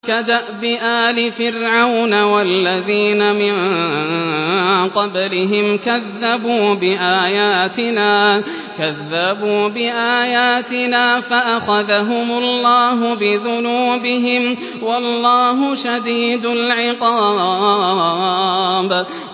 كَدَأْبِ آلِ فِرْعَوْنَ وَالَّذِينَ مِن قَبْلِهِمْ ۚ كَذَّبُوا بِآيَاتِنَا فَأَخَذَهُمُ اللَّهُ بِذُنُوبِهِمْ ۗ وَاللَّهُ شَدِيدُ الْعِقَابِ